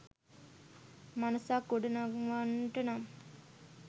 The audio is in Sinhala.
මනසක් ගොඩ නංවන්නට නම්,